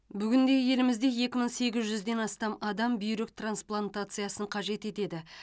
бүгінде елімізде екі мың сегіз жүзден астам адам бүйрек транслантациясын қажет етеді